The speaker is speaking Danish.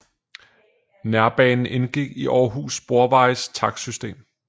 Nærbanen indgik i Århus Sporvejes takstsystem